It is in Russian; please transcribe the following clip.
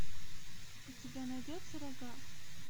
у тебя найдется рога